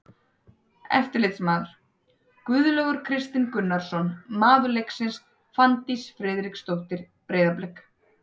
Eftirlitsmaður: Guðlaugur Kristinn Gunnarsson Maður leiksins: Fanndís Friðriksdóttir, Breiðablik.